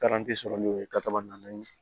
sɔrɔ n'o ye na na ye